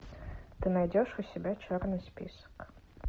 ты найдешь у себя черный список